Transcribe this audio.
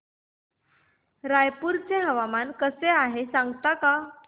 रायपूर चे हवामान कसे आहे सांगता का